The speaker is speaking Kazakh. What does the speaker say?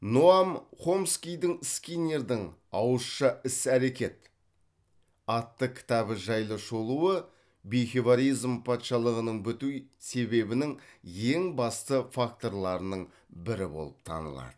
ноам хомскийдің скиннердің ауызша іс әрекет атты кітабы жайлы шолуы патшалығының біту себебінің ең басты факторларының бірі болып танылады